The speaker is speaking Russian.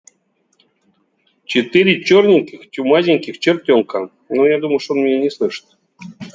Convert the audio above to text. четыре чёрненьких чумазеньких чертёнка но я думал что он меня не слышит